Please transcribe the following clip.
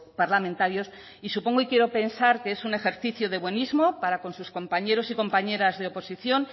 parlamentarios y supongo y quiero pensar que es un ejercicio de buenismo para con sus compañeros y compañeras de oposición